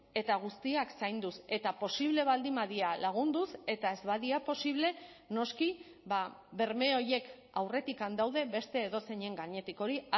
eta guztiak zainduz eta posible baldin badira lagunduz eta ez badira posible noski berme horiek aurretik daude beste edozeinen gainetik hori